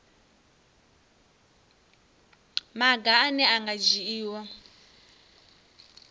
maga ane a nga dzhiiwa